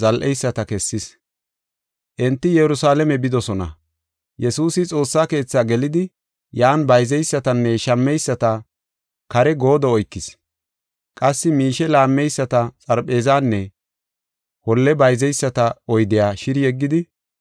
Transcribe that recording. Enti Yerusalaame bidosona; Yesuusi Xoossa Keethi gelidi, yan bayzeysatanne shammeyisata kare goodo oykis; qassi miishe laammeyisata xarpheezanne holle bayzeyisata oydiya shiri yeggidi,